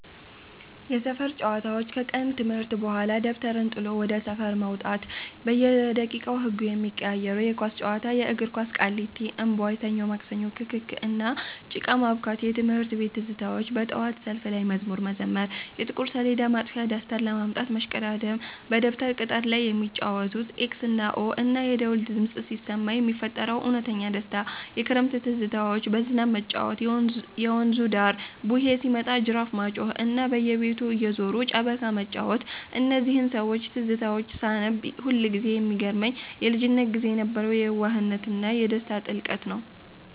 የሰፈር ጨዋታዎች፦ ከቀን ትምህርት በኋላ ደብተርን ጥሎ ወደ ሰፈር መውጣት፤ በየደቂቃው ህጉ የሚቀያየረው የኳስ ጨዋታ (የእግር ኳስ)፣ ቃሊቲ (እምቧይ)፣ ሰኞ ማክሰኞ፣ ክክክ፣ እና ጭቃ ማቡካት። የትምህርት ቤት ትዝታዎች፦ በጠዋት ሰልፍ ላይ መዝሙር መዘመር፣ የጥቁር ሰሌዳ ማጥፊያ (ዳስተር) ለማምጣት መሽቀዳደም፣ በደብተር ቅጠል ላይ የሚጫወቱት "ኤክስ እና ኦ"፣ እና የደወል ድምፅ ሲሰማ የሚፈጠረው እውነተኛ ደስታ። የክረምት ትዝታዎች፦ በዝናብ መጫወት፣ በየወንዙ ዳር "ቡሄ" ሲመጣ ጅራፍ ማጮኽ፣ እና በየቤቱ እየዞሩ ጨበካ መጫወት። እነዚህን የሰዎች ትዝታዎች ሳነብ ሁልጊዜ የሚገርመኝ የልጅነት ጊዜ የነበረው የየዋህነትና የደስታ ጥልቀት ነው።